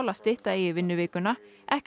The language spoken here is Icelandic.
að stytta eigi vinnuvikuna ekki